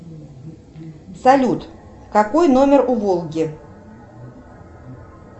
салют какой номер у волги